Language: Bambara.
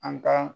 An ka